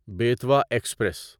Betwa express